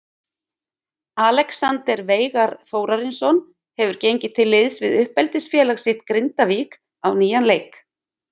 Alexander Veigar Þórarinsson hefur gengið til liðs við uppeldisfélag sitt Grindavík á nýjan leik.